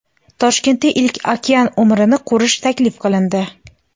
Toshkentda ilk okenariumni qurish taklif qilindi.